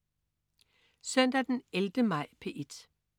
Søndag den 11. maj - P1: